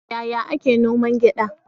Yaya ake noman gyaɗa?